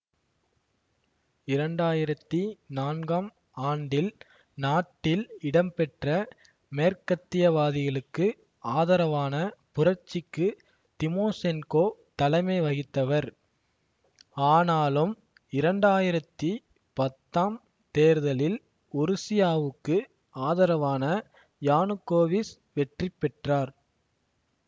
இரண்டாயிரத்தி நான்காம் ஆண்டில் நாட்டில் இடம்பெற்ற மேற்கத்தியவாதிகளுக்கு ஆதரவான புரட்சிக்கு திமோசென்கோ தலைமை வகித்தவர் ஆனாலும் இரண்டாயிரத்தி பத்தாம் தேர்தலில் உருசியாவுக்கு ஆதரவான யானுக்கோவிச் வெற்றி பெற்றார்